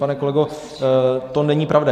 Pane kolego, to není pravda.